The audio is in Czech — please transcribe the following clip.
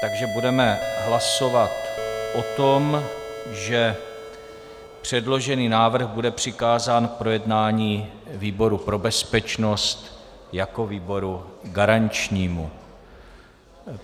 Takže budeme hlasovat o tom, že předložený návrh bude přikázán k projednání výboru pro bezpečnost jako výboru garančnímu.